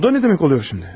Bu da ne demek oluyor şimdi?